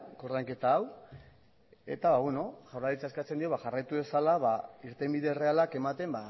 koordainketa hau eta beno jaurlaritzak eskatzen dio jarraitu dezala irtenbide errealak ematen